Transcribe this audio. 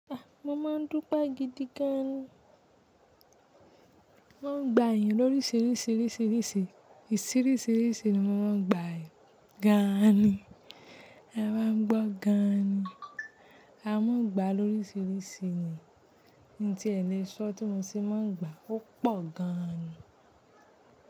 A! Mo máa ń dúpé gidi gan, mo ń gba èèyàn lóriṣiríṣi, ìṣíríṣi ni mo máa ń gba ènìyàn gan ni, ẹ bá n gbọ́ gan ni, a máa ń gba lóriṣiríṣi ni, n tí ẹ lè sọ tí mo ṣe máa ń gba ó pọ̀ gan ni.